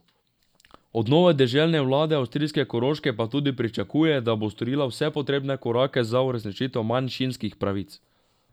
Od nove deželne vlade avstrijske Koroške pa tudi pričakuje, da bo storila vse potrebne korake za uresničitev manjšinskih pravic.